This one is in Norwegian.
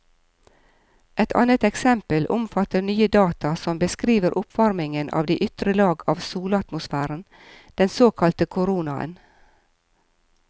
Et annet eksempel omfatter nye data som beskriver oppvarmingen av de ytre lag av solatmosfæren, den såkalte koronaen.